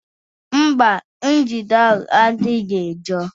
Mba, njide ahụ adịghị njọ